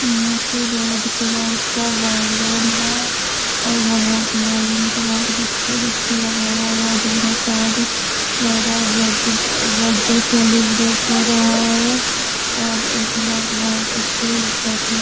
यहां पे red colour का बैलून है और बहुत बैलून को बहुत गुच्छे गुच्छे लगाया हुआ है दोनो साइड लग रहा है बर्थडे जे बर्थडे सेलिब्रेट हो रहा है और एक लोग बहुत अच्छे --